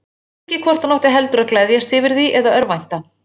Hann vissi ekki hvort hann átti heldur að gleðjast yfir því eða örvænta.